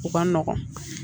O ka nɔgɔn